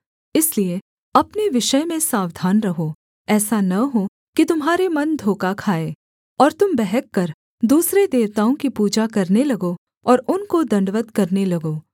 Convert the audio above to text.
इसलिए अपने विषय में सावधान रहो ऐसा न हो कि तुम्हारे मन धोखा खाएँ और तुम बहक कर दूसरे देवताओं की पूजा करने लगो और उनको दण्डवत् करने लगो